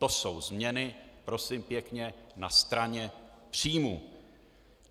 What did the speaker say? To jsou změny, prosím pěkně, na straně příjmů.